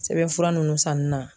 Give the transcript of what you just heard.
Sɛbɛnfura ninnu sanni na.